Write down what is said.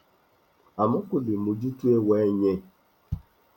àmọ kò lè mójú tó ẹwà ẹ yẹn